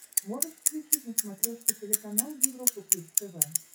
можешь включить на смотрешке телеканал европа плюс тв